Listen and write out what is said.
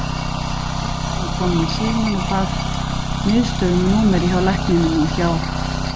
Systirin var komin í símann og bað miðstöð um númerið hjá lækninum og hjá